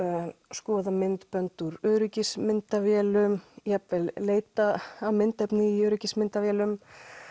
skoða myndbönd úr öryggismyndavélum jafnvel leitað að myndefni úr öryggismyndavélum